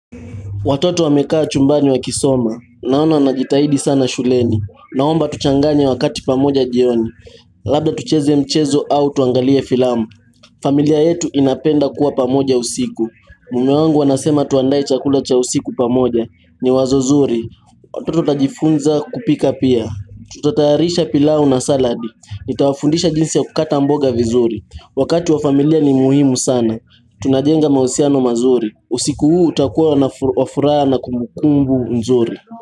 Watoto wamekaa chumbani wakisoma. Naona wanajitahidi sana shuleni. Naomba tuchanganye wakati pamoja jioni. Labda tucheze ya mchezo au tuangalie filamu. Familia yetu inapenda kuwa pamoja usiku. Mume wangu anasema tuandae chakula cha usiku pamoja. Ni wazo zuri. Watoto watajifunza kupika pia. Tutataharisha pilau na saladi. Nitawafundisha jinsi ya kukata mboga vizuri. Wakati wa familia ni muhimu sana. Tunajenga mahusiano mazuri. Usiku huu utakua na wa furaha kumukumbu nzuri.